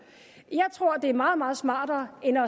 jeg tror det er meget meget smartere end at